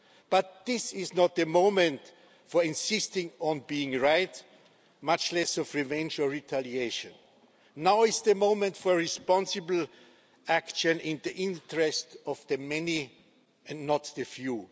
But this is not the moment for insisting on being right, much less for revenge or retaliation. Now is the moment for responsible action in the interests of the many and not the few.